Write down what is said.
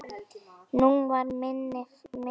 Nú var minna fjör.